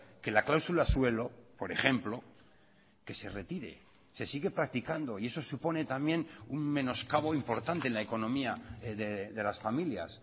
que la cláusula suelo por ejemplo que se retire se sigue practicando y eso supone también un menoscabo importante en la economía de las familias